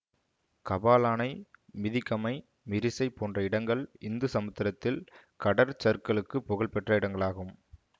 கபாலானை மிதிகமை மிரிசை போன்ற இடங்கள் இந்து சமுத்திரத்தில் கடற்சருக்கலுக்குப் புகழ் பெற்ற இடங்களாகும்